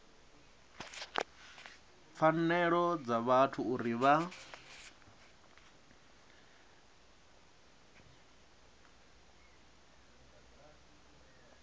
pfanelo dza vhathu uri vha